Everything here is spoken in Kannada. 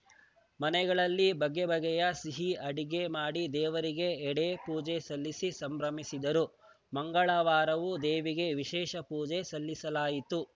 ಮನೆಗಳಲ್ಲಿ ಬಗೆ ಬಗೆಯ ಸಿಹಿ ಅಡುಗೆ ಮಾಡಿ ದೇವರಿಗೆ ಎಡೆ ಪೂಜೆ ಸಲ್ಲಿಸಿ ಸಂಭ್ರಮಿಸಿದರು ಮಂಗಳವಾರವೂ ದೇವಿಗೆ ವಿಶೇಷ ಪೂಜೆ ಸಲ್ಲಿಸಲಾಯಿತು